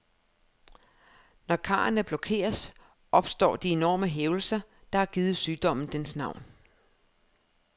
Når karrene blokeres, opstår de enorme hævelser, der har givet sygdommen dens navn.